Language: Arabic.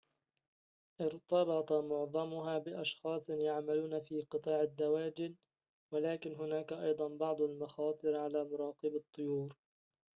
ارتبط معظمها بأشخاص يعملون في قطاع الدواجن ولكن هناك أيضًا بعض المخاطر على مراقبي الطيور